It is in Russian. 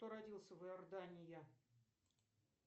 кто родился в иордания